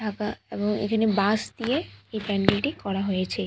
একা এবং এখানে বাঁশ দিয়ে এই প্যান্ডেল টি করা হয়েছে।